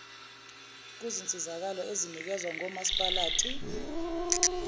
kuzinsizakalo ezinikezwa ngomasipalati